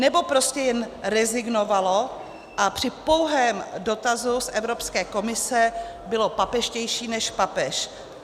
Nebo prostě jen rezignovalo a při pouhém dotazu z Evropské komise bylo papežštější než papež?